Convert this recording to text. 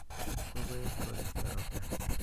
kokoeb koristo ropta